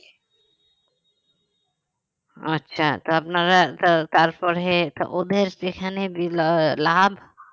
আচ্ছা তো আপনারা তার~ তারপরে ওদের যেখানে লাভ